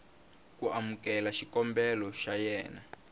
ku amukela xikombelo xa wena